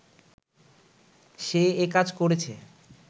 সে একাজ করেছে